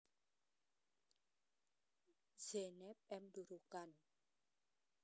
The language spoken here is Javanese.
Zeynep M Durukan